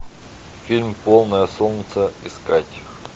фильм полное солнце искать